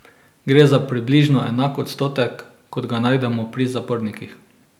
Gre za približno enak odstotek, kot ga najdemo pri zapornikih.